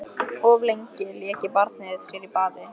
Of lengi lék barnið sér í baði